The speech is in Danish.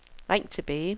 ring tilbage